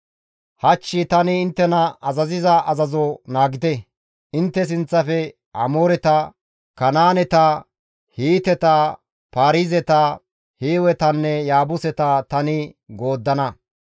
Hach tani inttena azaziza azazo naagite; intte sinththafe Amooreta, Kanaaneta, Hiiteta, Paarizeta, Hiiwetanne Yaabuseta tani gooddana.